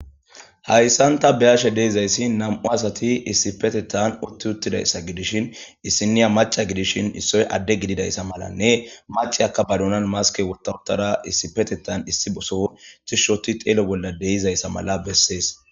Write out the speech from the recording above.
hayssanta beyashe deizayssi nam7u asati issipetetan utti uttidayssa gidishin issiniya maca gidishin issoy adde gididayssa malanne maceyakka badunan maske wurtautada issipetetan issi boso tishshoti xeelo bolla deizayssa mala bessees